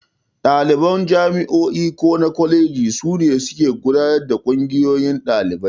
Ɗaliban jami'o'i ko kwalejoji su ne suke gudanar da Ƙungiyoyin Ɗalibai.